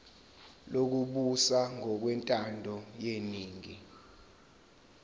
lokubusa ngokwentando yeningi